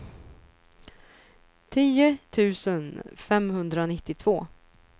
tio tusen femhundranittiotvå